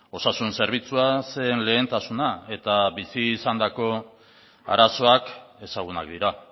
osasun zerbitzua zen lehentasuna eta bizi izandako arazoak ezagunak dira